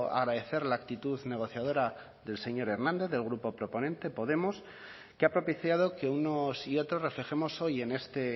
agradecer la actitud negociadora del señor hernández del grupo proponente podemos que ha propiciado que unos y otros reflejemos hoy en este